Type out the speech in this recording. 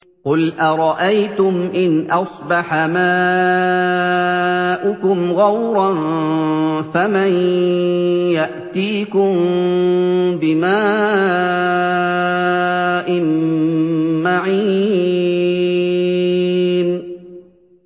قُلْ أَرَأَيْتُمْ إِنْ أَصْبَحَ مَاؤُكُمْ غَوْرًا فَمَن يَأْتِيكُم بِمَاءٍ مَّعِينٍ